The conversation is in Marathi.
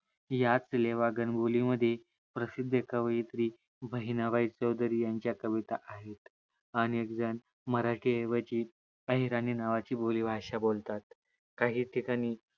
याच लेवा गणबोली मध्ये प्रसिद्ध कवियत्री बहिणाबाई चौधरी यांच्या कविता आहे अनेकजण मराठी ऐवजी अहिराणी नावाची बोलीभाषा बोलतात काही ठीकाणी